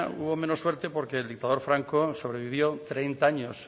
hubo menos suerte porque el dictador franco sobrevivió treinta años